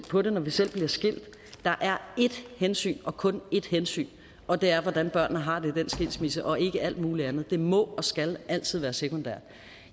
på det når vi selv bliver skilt at der er ét hensyn og kun ét hensyn og det er hvordan børnene har det i den skilsmisse og ikke alt muligt andet for det må og skal altid være sekundært